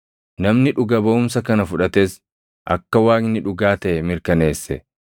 Namni dhuga baʼumsa kana fudhates akka Waaqni dhugaa taʼe mirkaneesse.